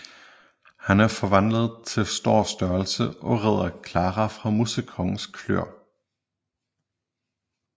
Han er forvandlet til stor størrelse og redder Clara fra Musekongens klør